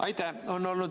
Aitäh!